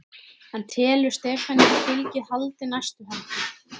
En telur Stefanía að fylgið haldi næstu helgi?